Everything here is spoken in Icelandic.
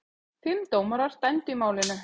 Fimm dómarar dæmdu í málinu.